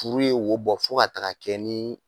Furu ye wo bɔ fo ka taga kɛ ni